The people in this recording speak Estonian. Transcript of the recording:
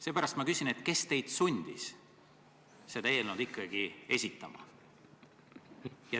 Seepärast ma küsin, kes teid sundis seda eelnõu ikkagi esitama.